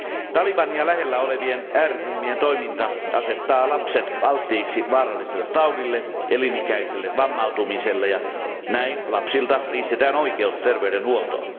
Talibania lähellä olevien ääriryhmien toiminta asettaa lapset alttiiksi vaaralliselle taudille ja elinikäiselle vammautumiselle, ja näin lapsilta riistetään oikeus terveydenhuoltoon.